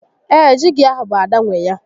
Ee, jíígi ahụ bụ Ada nwé ya